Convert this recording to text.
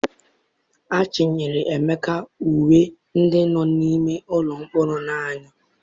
Achinyere Emeka uwe ndị nọ n'ime ụlọ mkpọrọ na-eyi.